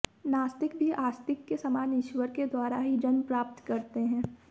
नास्तिक भी आस्तिक के समान ईश्वर के द्वारा ही जन्म प्राप्त करते हैं